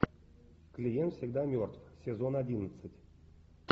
клиент всегда мертв сезон одиннадцать